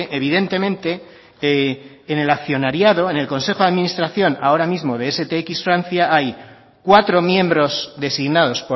evidentemente en el accionariado en el consejo de administración ahora mismo de stx france hay cuatro miembros designados